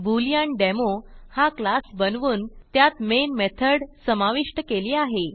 बूलेअँडेमो हा क्लास बनवून त्यात मेन मेथड समाविष्ट केली आहे